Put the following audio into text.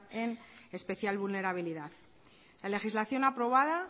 en especial vulnerabilidad la legislación aprobada